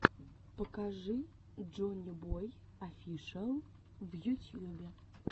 покажи джоннибой офишиал в ютьюбе